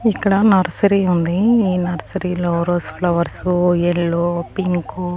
ఇక్కడ నర్సరీ ఉంది ఈ నర్సరీలో రోస్ ఫ్లవర్స్ ఎల్లో పింకు .